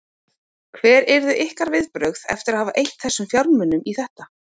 Hver yrðu ykkar viðbrögð eftir að hafa eytt þessum fjármunum í þetta?